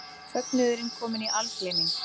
Fögnuðurinn kominn í algleyming.